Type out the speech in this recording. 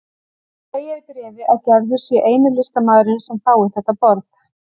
Segja í bréfi að Gerður sé eini listamaðurinn sem fái þetta boð.